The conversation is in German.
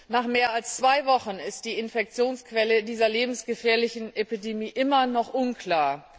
Nach mehr als zwei Wochen ist die Infektionsquelle dieser lebensgefährlichen Epidemie immer noch unklar.